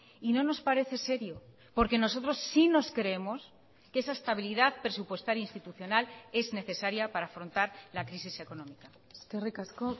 y no nos parece serio porque nosotros sí nos creemos que esa estabilidad presupuestaria institucional es necesaria para afrontar la crisis económica eskerrik asko